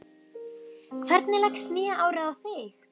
Hvernig leggst nýja árið í þig?